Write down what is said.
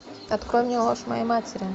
открой мне ложь моей матери